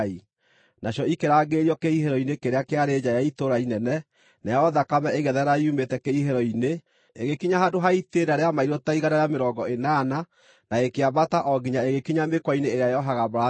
Nacio ikĩrangĩrĩrio kĩhihĩro-inĩ kĩrĩa kĩarĩ nja ya itũũra inene, nayo thakame ĩgĩtherera yumĩte kĩhihĩro-inĩ, ĩgĩkinya handũ ha itĩĩna rĩa mairũ ta igana rĩa mĩrongo ĩnana, na ĩkĩambata o nginya ĩgĩkinya mĩkwa-inĩ ĩrĩa yohaga mbarathi tũnua.